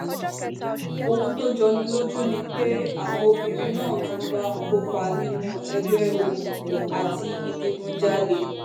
ohun tó jọ ní lójú ni pé àwọn obìnrin náà tún ń bá wọn kópa nínú ẹgbẹ́ òkùnkùn àti ìdígunjalè